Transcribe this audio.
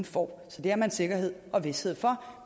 får så det har man sikkerhed og vished for